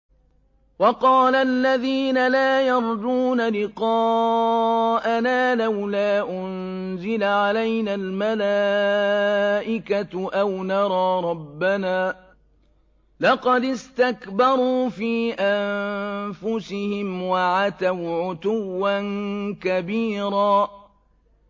۞ وَقَالَ الَّذِينَ لَا يَرْجُونَ لِقَاءَنَا لَوْلَا أُنزِلَ عَلَيْنَا الْمَلَائِكَةُ أَوْ نَرَىٰ رَبَّنَا ۗ لَقَدِ اسْتَكْبَرُوا فِي أَنفُسِهِمْ وَعَتَوْا عُتُوًّا كَبِيرًا